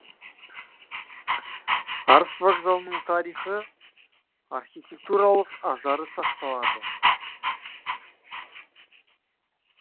арыс вокзалының тарихы архитектуралық ажары сақталады